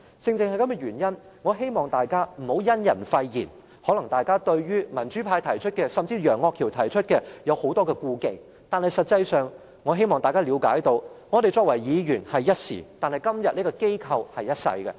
正因如此，我希望大家不要因人廢言，大家可能對於民主派甚至是楊岳橋提出的修訂有很多顧忌，但我希望大家理解，我們作為議員只是一時，但今天這個機構是一世的。